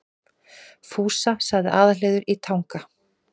Fúsa, sagði Aðalheiður í Tanga.